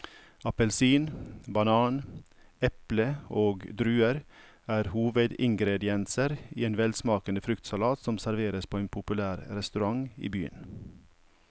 Appelsin, banan, eple og druer er hovedingredienser i en velsmakende fruktsalat som serveres på en populær restaurant i byen.